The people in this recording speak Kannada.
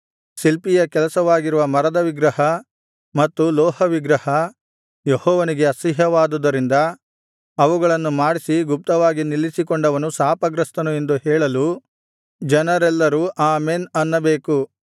ಶಿಲ್ಪಿಯ ಕೆಲಸವಾಗಿರುವ ಮರದ ವಿಗ್ರಹ ಮತ್ತು ಲೋಹವಿಗ್ರಹ ಯೆಹೋವನಿಗೆ ಅಸಹ್ಯವಾದುದರಿಂದ ಅವುಗಳನ್ನು ಮಾಡಿಸಿ ಗುಪ್ತವಾಗಿ ನಿಲ್ಲಿಸಿಕೊಂಡವನು ಶಾಪಗ್ರಸ್ತನು ಎಂದು ಹೇಳಲು ಜನರೆಲ್ಲರೂ ಆಮೆನ್ ಅನ್ನಬೇಕು